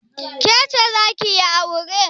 Ke ce za ki yi aure?